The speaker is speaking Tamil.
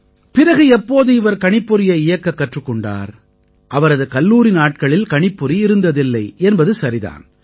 பிறகு எப்போது இவர் கணிப்பொறியை இயக்கக் கற்றுக் கொண்டார் அவரது கல்லூரி நாட்களில் கணிப்பொறி இருந்ததில்லை என்பது சரி தான்